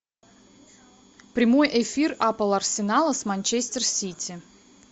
прямой эфир апл арсенала с манчестер сити